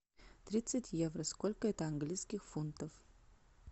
тридцать евро сколько это английских фунтов